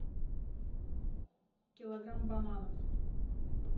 килограмм бананов